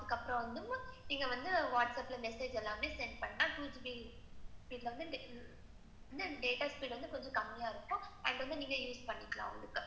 அதுக்கப்புறம் வந்து, நீங்க வந்து whats app message எல்லாமே send பண்ணலாம். two GB at speed வந்து கொஞ்சம் கம்மியா இருக்கும். அத வந்து நீங்க use பண்ணிக்கலாம்.